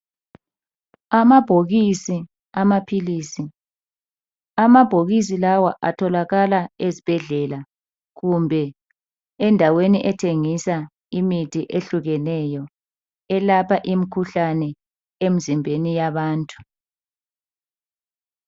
Amabhokisi amaphilisi, Amabhokisi lawa atholakala ezibhedlela kumbe endaweni ethengisa imithi ehlukahlukeneyo elapha imkhuhlane emzimbeni yabantu.